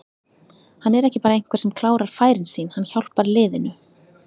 Hann er ekki bara einhver sem klárar færin sín, hann hjálpar liðinu.